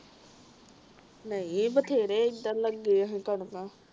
ਨਹੀਂ ਬਥੇਰੇ ਏਧਰ ਲਗੇ ਸੀ ਕਣਕਾਂ